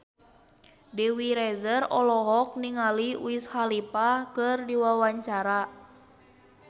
Dewi Rezer olohok ningali Wiz Khalifa keur diwawancara